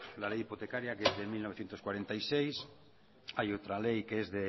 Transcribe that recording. la ley hipotecaria que es de mil novecientos cuarenta y seis hay otra ley que es